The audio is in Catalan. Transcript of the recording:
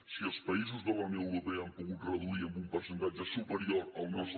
si els països de la unió europea han pogut reduir en un percentatge superior al nostre